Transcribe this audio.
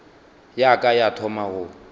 ya ka ya thoma go